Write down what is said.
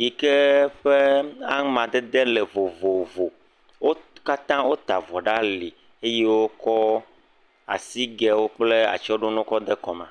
yi ke ƒe ameadede le vovovowo wo katã wo ta vɔ ɖe ali, eye wo kɔ asigɛwo kple atsyɔɖonuwo kɔ ɖe kɔme